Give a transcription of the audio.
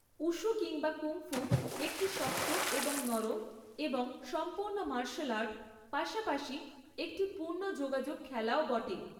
Wushu কিংবা kung fu একটি শক্ত এবং নরম এবং সম্পূর্ণ মার্শাল আর্ট, পাশাপাশি একটি পূর্ণ যোগাযোগ খেলাও বটে।